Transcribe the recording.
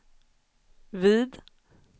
vid